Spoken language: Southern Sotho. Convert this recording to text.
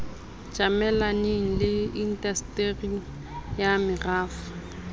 tjamelaneng le indasteri ya merafo